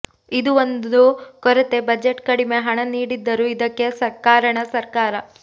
ಇದು ಒಂದು ಕೊರತೆ ಬಜೆಟ್ ಕಡಿಮೆ ಹಣ ನೀಡಿದ್ದರು ಇದಕ್ಕೆ ಕಾರಣ ಸರ್ಕಾರ